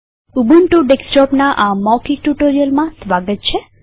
Ubuntu ડેસ્કટોપના આ મૌખિક ટ્યુ્ટોરીઅલમાં સ્વાગત છે